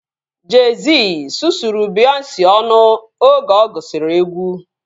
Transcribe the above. Jey-Z sụsụrụ Beyonce ọnụ oge ọ gụsiri egwu